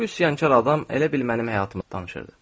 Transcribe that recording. Bu üsyankar adam elə bil mənim həyatımı danışırdı.